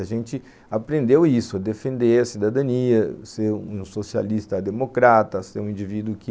A gente aprendeu isso, defender a cidadania, ser um socialista democrata, ser um indivíduo que